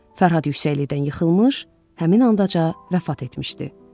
Fərhad Yüksəlidən yıxılmış, həmin ancaq vəfat etmişdi.